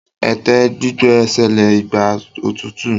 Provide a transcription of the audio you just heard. ète gbígbẹ ṣẹlẹ Igba otutu.